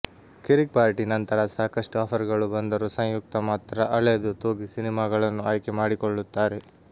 ಕಿರಿಕ್ ಪಾರ್ಟಿ ನಂತರ ಸಾಕಷ್ಟು ಆಫರ್ಗಳು ಬಂದರೂ ಸಂಯುಕ್ತಾ ಮಾತ್ರ ಅಳೆದು ತೂಗಿ ಸಿನಿಮಾಗಳನ್ನು ಆಯ್ಕೆ ಮಾಡಿಕೊಳ್ಳುತ್ತಾರೆ